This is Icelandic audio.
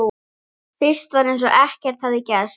Fyrst var eins og ekkert hefði gerst.